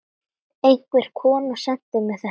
Einhver kona sendi mér þetta.